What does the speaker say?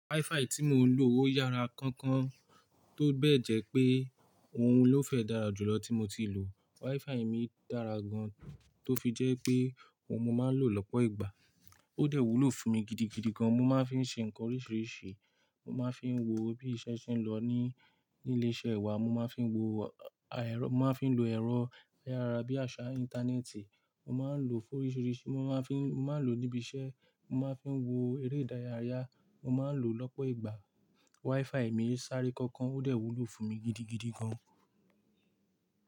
WiFi tí mo ń lò ó yára kankan, tó bẹ́ẹ̀ jẹ pé ohun ló fẹ́ dára jù lọ tí mo ti lò. WiFi mi dára gan tó fi jẹ́ pé ohun mo máa ń lò lọ́pọ̀ ìgbà. Ó dẹ̀ wúlò fún mi gidigidi gan. Mo máa ń fí ṣe ńkan oríṣìíríṣìí, mo máa ń fi wo bí iṣẹ́ ṣe ń lọ ní, ní ilé-iṣẹ́ wa, mo máa ń fi wo àà ẹrọ, mo máa ń fi lo ẹ̀rọ ayára bíi àṣà íńtánẹ́ẹ̀tì, mo máa ń lò ó fún oríṣìíríṣìí, mo máa ń fi, mo máa ń lò ó níbi iṣẹ́, mo máa ń fi wo eré ìdárayá, mo máa ń lò ó lọ́pọ̀ ìgbà. WiFi mi sáré kankan, ó dẹ̀ wúlò fún mi gidigidi gan.